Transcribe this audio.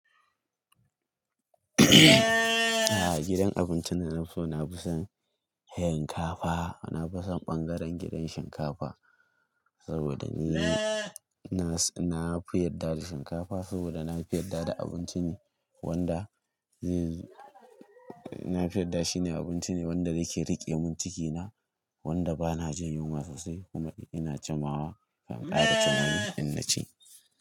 Gidan abincin da na fi so, na fi son shinkafa. Na fi son ɓangaren gidan shinkafa saboda ni na, na fi yarda da shinkafa saboda na fi yarda da abinci ne wanda ni na fi yarda shi ne abinci ne wanda yake riƙe mun ciki na wanda bana jin yunwa sosai kuma ina jimawa ban kara cin wani in naci.